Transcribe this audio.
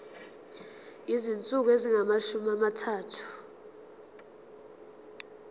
izinsuku ezingamashumi amathathu